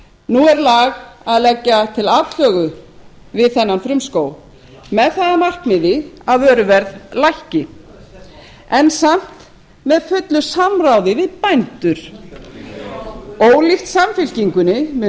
nú er lag að leggja til atlögu við þennan frumskóg með það að markmiði að vöruverð lækki en samt með fullu samráði við bændur ólíkt samfylkingunni mun